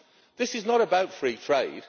This is not about free trade.